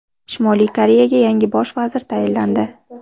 Shimoliy Koreyaga yangi bosh vazir tayinlandi.